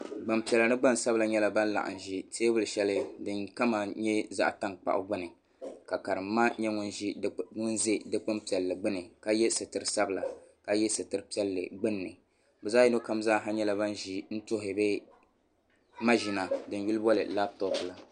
Gbanpiɛla ni gnansabila nyɛla ban laɣam ʒi teebuli shɛli din kama nyɛ zaŋ tankpaɣu gbuni ka karim ma nyɛ ŋun ʒɛ dikpuni piɛlli gbuni ka yɛ sitiri sabila ka yɛ sitiri piɛlli gbunni bi zaɣ yino kam nyɛla bin ʒi n tuhi bi maʒina din yuli booni labtop la